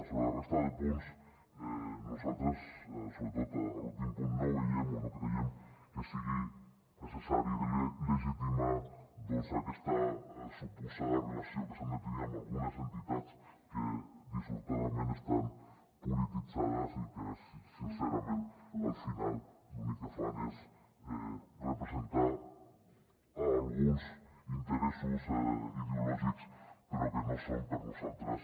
sobre la resta de punts nosaltres sobretot a l’últim punt no veiem o no creiem que sigui necessari legitimar aquesta suposada relació que s’ha de tenir amb algunes entitats que dissortadament estan polititzades i que sincerament al final l’únic que fan és representar alguns interessos ideològics però que no són per nosaltres